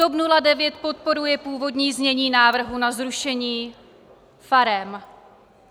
TOP 09 podporuje původní znění návrhu na zrušení farem.